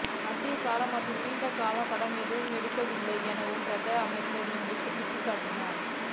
மத்திய கால மற்றும் நீண்ட கால கடன் எதுவும் எடுக்கவில்லை எனவும் பிரதி அமைச்சர் இங்கு சுட்டிக்காட்டினார்